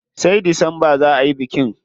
Sai Disamba za ayi bikin.